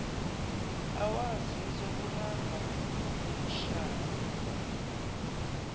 awazi ngizokubamba ngikushaye